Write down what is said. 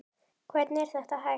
Hvernig er þetta hægt?